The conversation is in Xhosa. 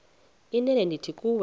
inene ndithi kuwe